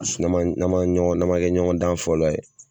sinɔn n'an ma n'an ma kɛ ɲɔgɔn dan fɔlɔ ye